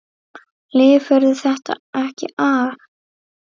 Lifirðu þetta ekki af?